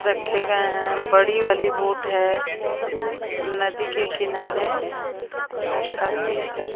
रखे गए हैं बड़ी वाली बोट है नदी के किनारे और काफी सार--